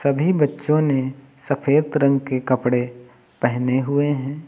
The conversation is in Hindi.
भी बच्चों ने सफेद रंग के कपड़े पहने हुए है।